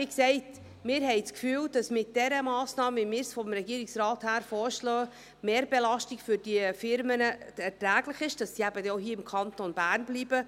Wie gesagt, wir haben das Gefühl, dass mit dieser Massnahme, wie wir sie vom Regierungsrat vorschlagen, die Mehrbelastung für diese Unternehmen erträglich ist, sodass sie im Kanton Bern bleiben.